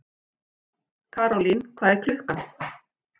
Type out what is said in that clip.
Karólín, hvað er klukkan?